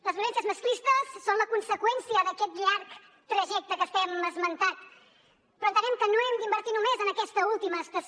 les violències masclistes són la conseqüència d’aquest llarg trajecte que estem esmentant però entenem que no hem d’invertir només en aquesta última estació